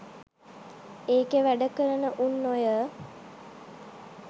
ඒකෙ වැඩ කරන උන් ඔය